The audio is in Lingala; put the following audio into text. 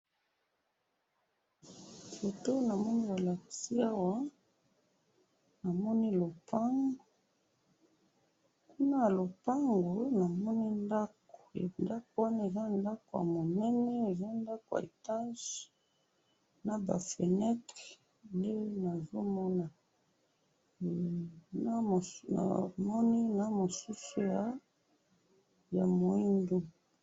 Foto namoni balakisi awa, namoni lopango, na lopango namoni ndako, ndako wana eza ndako ya monene, ndako ya etage, naba feunetre, nde nazomona, hum, namoni na mosusu ya mwindu.